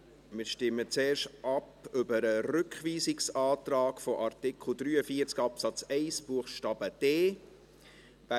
Wir stimmen zuerst über den Rückweisungsantrag zu Artikel 43 Absatz 1 Buchstabe d ab.